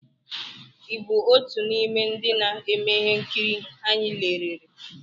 ị bụ otu n'ime ndị na-eme ihe nkiri anyị lerere?